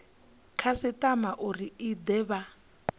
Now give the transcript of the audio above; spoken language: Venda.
khasitama uri i de vha